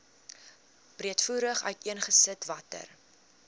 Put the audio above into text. breedvoerig uiteengesit watter